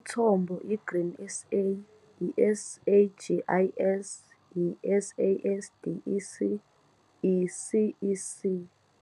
Umthombo- I-Grain SA, i-SAGIS, i-SASDEC, i-CEC